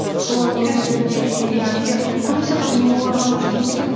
солардың өмірлеріне иә көбінесе қазір мемуарға көшкен секілдімін